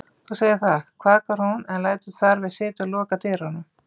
Þú segir það, kvakar hún en lætur þar við sitja og lokar dyrunum.